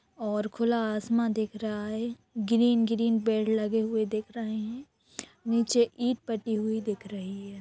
और खुला आसमा दिख रहा है ग्रीन ग्रीन पेड़ लगे हुए दिख रहे हैं नीचे ईंट पटी हुई दिख रही है।